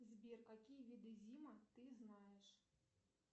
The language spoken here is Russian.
сбер какие виды зима ты знаешь